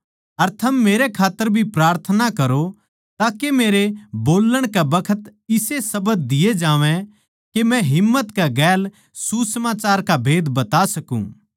अर थम मेरै खात्तर भी प्रार्थना करो ताके मेरे बोल्लण कै बखत इसे शब्द दिया जावै के मै हिम्मत कै गैल सुसमाचार का भेद बता सकूँ